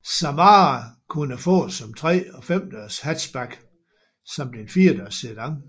Samara kunne fås som 3 og 5 dørs hatchback samt en 4 dørs sedan